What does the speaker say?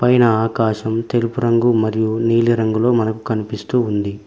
పైన ఆకాశం తెలుపు రంగు మరియు నీలి రంగులో మనకు కనిపిస్తూ ఉంది.